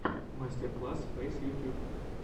мастер класс фэйс ютьюб